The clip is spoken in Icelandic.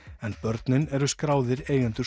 en börnin eru skráðir eigendur